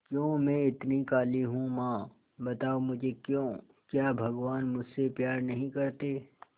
क्यों मैं इतनी काली हूं मां बताओ मुझे क्यों क्या भगवान मुझसे प्यार नहीं करते